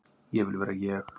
Ég vil vera ég.